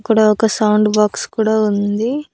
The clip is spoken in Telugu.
అక్కడ ఒక సౌండ్ బాక్స్ కూడా ఉంది.